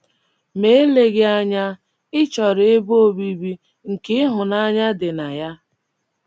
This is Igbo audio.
Ma eleghị anya, ị chọrọ ebe obibi nke ịhụnanya dị na ya.